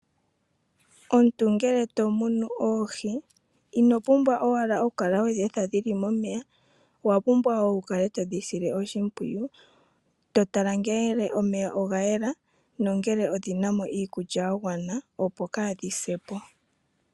Omuntu ngele to munu oohi inopumbwa owala okukala wedheetha dhili momeya, owa pumbwa woo okukala todhi sile oshimpwiyu totala ngele omeya ogayela no kutala ngele odhinamo iikulya yagwana opo kaadhise ondjala.